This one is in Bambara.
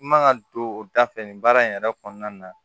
I man ka don o da fɛ nin baara in yɛrɛ kɔnɔna na